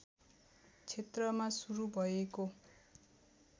क्षेत्रमा शुरु भएको